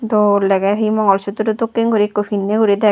dol dege he mangol sutro dokken guri ekko pinne guri deg.